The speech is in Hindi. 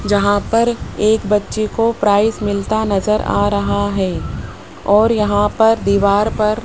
जहां पर एक बच्ची को प्राइस मिलता नजर आ रहा है और यहां पर दीवार पर --